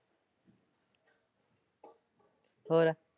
ਹੋਰ?